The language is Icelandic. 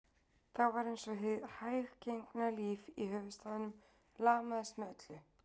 Þá var einsog hið hæggenga líf í höfuðstaðnum lamaðist með öllu